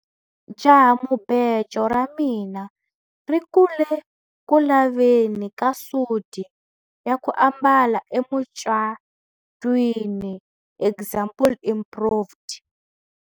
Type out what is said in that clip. Jahamubejo ra mina ri ku le ku laveni ka suti ya ku ambala emucatwini example improved.